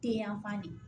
Te yan fan de